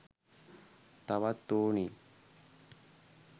තවත් ඕනේ